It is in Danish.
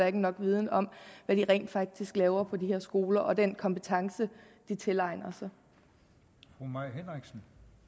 er nok viden om hvad de rent faktisk laver på de her skoler og om den kompetence de tilegner sig